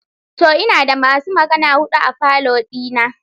To! Ina da masu magana hudu a falo dina.